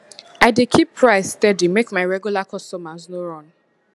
i dey keep price steady make my regular customers no run